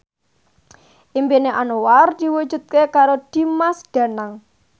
impine Anwar diwujudke karo Dimas Danang